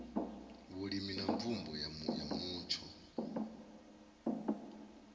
vhulimi na mvumbo ya mutsho